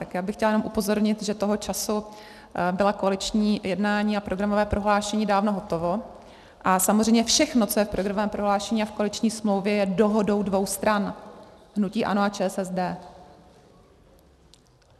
Tak já bych chtěla jenom upozornit, že toho času byla koaliční jednání a programové prohlášení dávno hotova a samozřejmě všechno, co je v programovém prohlášení a v koaliční smlouvě, je dohodou dvou stran, hnutí ANO a ČSSD.